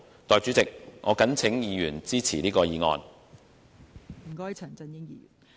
代理主席，我謹請議員支持議案。